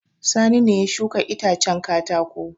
Sani ne ya shuka itacen katako.